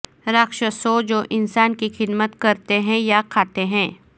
راکشسوں جو انسان کی خدمت کرتے ہیں یا کھاتے ہیں